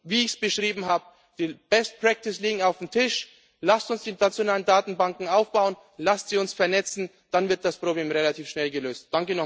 keine Lösung. Wie ich es beschrieben habe Die best practice liegt auf dem Tisch, lasst uns die nationalen Datenbanken aufbauen, lasst sie uns vernetzen, dann wird das Problem relativ